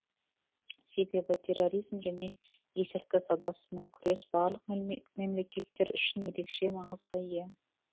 себебі терроризм және есірткі саудасымен күрес барлық мемлекеттер үшін ерекше маңызға ие